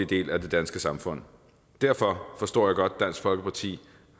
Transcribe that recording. del af det danske samfund derfor forstår jeg godt at dansk folkeparti